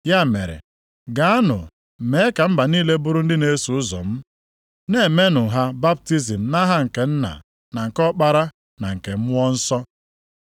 Ya mere, gaanụ mee ka mba niile bụrụ ndị na-eso ụzọ m, na-emenụ ha baptizim nʼaha nke Nna, na nke Ọkpara, na nke Mmụọ Nsọ.